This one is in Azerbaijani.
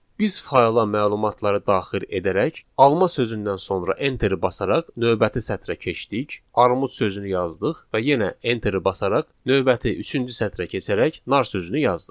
biz fayla məlumatları daxil edərək, alma sözündən sonra enteri basaraq növbəti sətrə keçdik, armud sözünü yazdıq və yenə enteri basaraq növbəti üçüncü sətrə keçərək nar sözünü yazdıq.